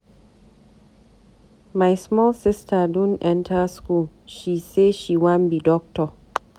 My small sister don enta school, she sey she wan be doctor.